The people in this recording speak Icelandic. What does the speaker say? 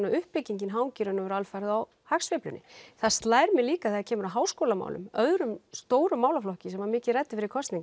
að uppbyggingin hangir alfarið á hagsveiflunni það slær mig líka þegar það kemur að háskólamálum öðrum stórum málaflokki sem var mikið rætt fyrir kosningar